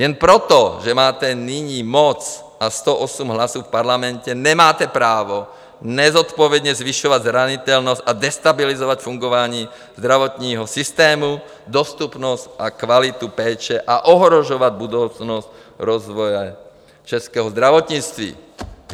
Jen proto, že máte nyní moc a 108 hlasů v parlamentě, nemáte právo nezodpovědně zvyšovat zranitelnost a destabilizovat fungování zdravotního systému, dostupnost a kvalitu péče a ohrožovat budoucnost rozvoje českého zdravotnictví.